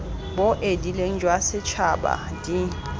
bo edileng jwa setšhaba d